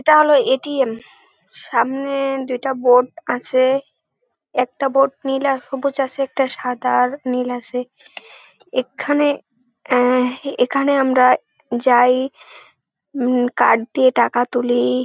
এটা হলো A .T .M. সামনে-এ দুইটা বোর্ড আছে । একটা বোর্ড নীল আর সবুজ আছে একটা সাদা আর নীল আছে ।একখানে অ্যা এখানে আমরা যাই উম কার্ড দিয়ে টাকা তুলি।